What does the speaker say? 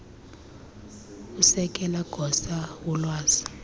usekela gosa wolwazi